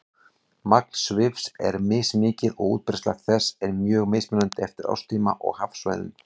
Magn svifs er mismikið og útbreiðsla þess er mjög mismunandi eftir árstíma og hafsvæðum.